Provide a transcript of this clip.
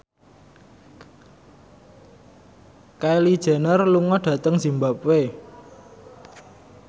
Kylie Jenner lunga dhateng zimbabwe